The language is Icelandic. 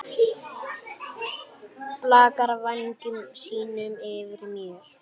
Blakar vængjum sínum yfir mér.